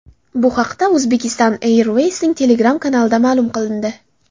Bu haqda Uzbekistan Airways’ning Telegram kanalida ma’lum qilindi .